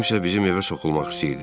Kimsə bizim evə soxulmaq istəyirdi.